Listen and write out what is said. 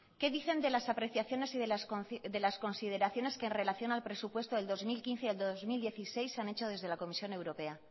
qué dicen de las apreciaciones y de las consideraciones que en relaciona al presupuesto del dos mil quince y del dos mil dieciséis se han hecho desde la comisión europea